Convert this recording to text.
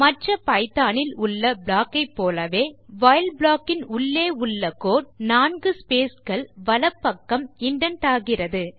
மற்ற பைத்தோன் இல் உள்ள ப்ளாக் போலவே வைல் ப்ளாக் க்குள் உள்ள கோடு 4 ஸ்பேஸ் கள் வலப்பக்கம் இண்டென்ட் ஆகிறது